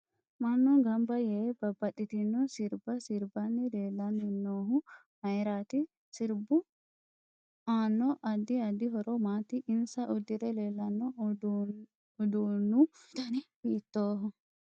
Mannu ganbba yee babbaxitino sirbba sirbanni leelanni noohu mayiiraati sirbbu aano addi addi horo maati insa uddire leelanno uduunu dani hiitooho